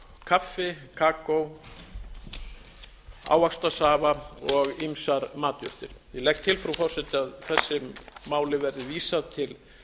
kaffi kakó ávaxtasafa og ýmsar matjurtir ég legg til frú forseti að þessu máli verði vísað til